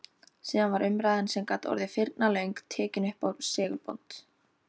Síðan var umræðan, sem gat orðið firnalöng, tekin uppá segulbönd.